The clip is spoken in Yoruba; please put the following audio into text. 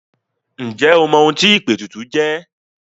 Ǹjẹ́ o mọ ohun tí ìpètùtù jẹ́?